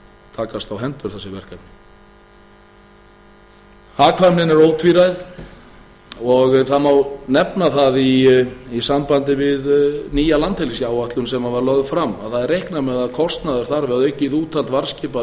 takast á hendur þessi verkefna hagkvæmnin er ótvíræð og það má nefna það í sambandi við nýja landhelgisáætlun sem var lögð fram að það má nefna það í sambandi við nýja landhelgisáætlun sem var lögð fram að það er reiknað með að kostnaður og aukið úthald varðskipa verði